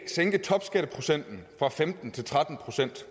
sænke topskatteprocenten fra femten til tretten procent